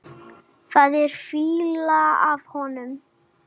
Það er fýla af honum.